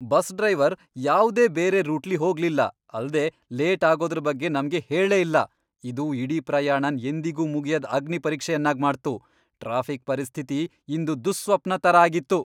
Bus driver ಯಾವ್ದೇ ಬೇರೆ ರೂಟ್ಲಿ ಹೋಗ್ಲಿಲ್ಲ ಅಲ್ದೆ ಲೇಟ್ ಆಗೋದ್ರ ಬಗ್ಗೆ ನಮ್ಗೆ ಹೇಳೇ ಇಲ್ಲ, ಇದು ಇಡೀ ಪ್ರಯಾಣನ್ ಎಂದಿಗೂ ಮುಗಿಯದ್ ಅಗ್ನಿಪರೀಕ್ಷೆಯನ್ನಾಗಿ ಮಾಡ್ತು! ಟ್ರಾಫಿಕ್ ಪರಿಸ್ಥಿತಿ ಇಂದು ದುಃಸ್ವಪ್ನ ತರ ಆಗಿತ್ತು.